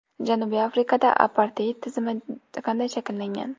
Janubiy Afrikada aparteid tizimi qanday shakllangan?.